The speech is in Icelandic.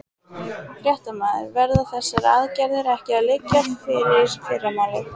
Fréttamaður: Verða þessar aðgerðir ekki að liggja fyrir í fyrramálið?